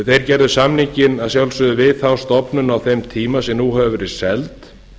þeir gerðu samninginn að sjálfsögðu við þá stofnun á þeim tíma sem nú hefur verið seld